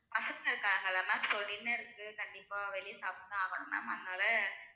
பசங்க இருகாங்கல ma'am so dinner க்கு கண்டிப்பா வெளியே சாப்பிட்டுத்தான் ஆகணும் ma'am அதனால